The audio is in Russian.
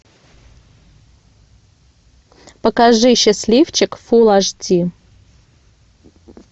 покажи счастливчик фулл аш ди